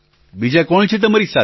પ્રધાનમંત્રી બીજા કોણ છે તમારી સાથે